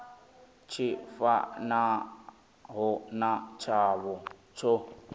tshi fanaho na tshavho tsho